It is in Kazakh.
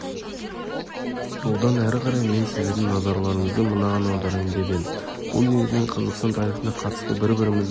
одан әрі қарай мен сіздердің назарларыңызды мынаған аударайын деп едім бұл негізінен қазақстан тарихына қатысты бір-бірімізді